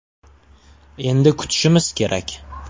Endi kutishimiz kerak.